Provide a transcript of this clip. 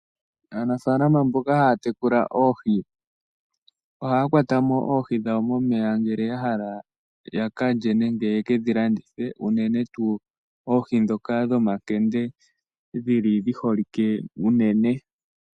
Aanafaalaama mboka haya tekula oohi ohaya kwata mo oohi dhawo momeya uuna ya hala ya ka lye nenge ye ke dhi landithe, unene tuu oohi ndhoka dhomankende dhi holike unene.